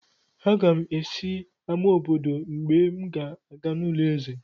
Aga m esi n'amá obodo mgbe m ga-aga n'ulo eze;